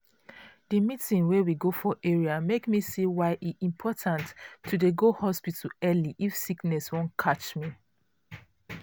the eeting wey we go for area make me see why e important to dey go hospital early if sickness wan catch me.